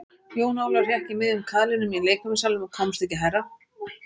Jón Ólafur hékk í miðjum kaðlinum í leikfimissalnum og komst ekki hærra.